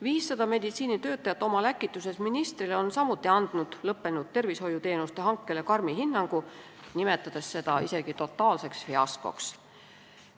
500 meditsiinitöötajat oma läkituses ministrile on samuti andnud lõppenud tervishoiuteenuste hankele karmi hinnangu, nimetades seda isegi totaalseks fiaskoks.